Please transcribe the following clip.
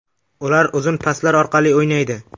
Ular uzun paslar orqali o‘ynaydi.